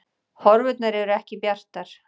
Horfurnar eru ekki bjartar